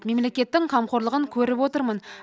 мемлекеттің қамқорлығын көріп отырмын